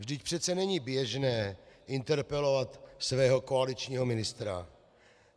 Vždyť přece není běžné interpelovat svého koaličního ministra.